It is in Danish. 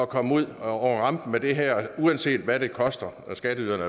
komme ud over rampen med det her uanset hvad det koster skatteyderne